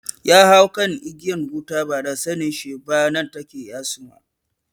Ya hau kan igiyar wuta ba da sanen shi ba nan take ya suma